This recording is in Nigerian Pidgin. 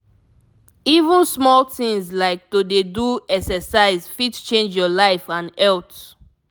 even small things like to dey do exercise fit change your life and health.